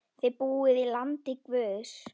Þið búið í landi guðs.